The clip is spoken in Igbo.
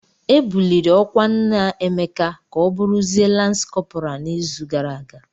E buliri ọkwa nna Emeka ka ọ bụrụzie Lans kọpral n'izu gara aga.